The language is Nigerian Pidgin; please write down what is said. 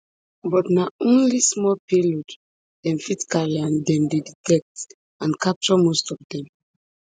but na only small payload dem fit carry and dem dey detect and capture most of dem